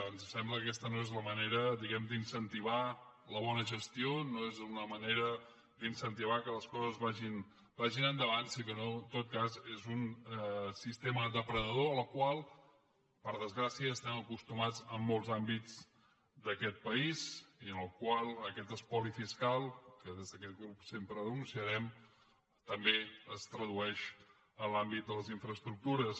ens sembla que aquesta no és la manera diguem ne d’incentivar la bona gestió no és una manera d’incentivar que les coses vagin endavant sinó que en tot cas és un sistema depredador al qual per desgràcia estem acostumats en molts àmbits d’aquest país i en el qual aquest espoli fiscal que des d’aquest grup sempre denunciarem també es tradueix en l’àmbit de les infraestructures